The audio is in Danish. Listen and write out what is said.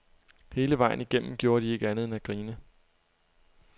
Hele vejen igennem gjorde de ikke andet end at grine.